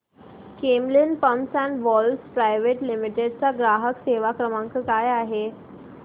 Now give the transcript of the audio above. Camlin pumps and valves private limited चा ग्राहक सेवा क्रमांक काय आहे